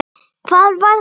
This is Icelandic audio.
Hvað var það?